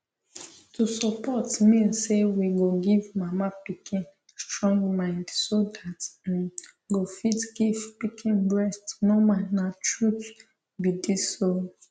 to support mean say we go give mama pikin strong mind so that im go fit give pikin breast normal na truth be this o